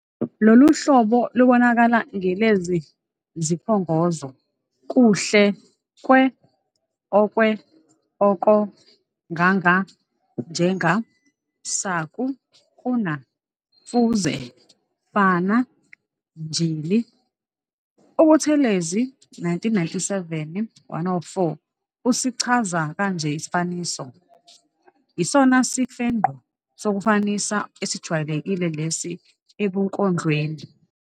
Lolu hlobo lubonakala ngelezi ziphongozo- kuhle kwe-, okwe-,oko-, nganga-,njenga-, saku-, kuna-, fuze-, fana, njll. UButhelezi, 1997- 104, usichaza kanje isifaniso- "Yisona sifengqo sokufanisa esijwayelekile lesi ebunkondlweni.